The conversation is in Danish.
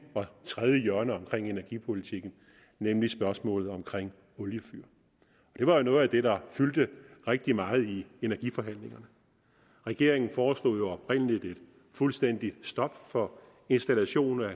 og det tredje hjørne af energipolitikken nemlig spørgsmålet om oliefyr det var noget af det der fyldte rigtig meget i energiforhandlingerne regeringen foreslog jo oprindelig et fuldstændigt stop for installation af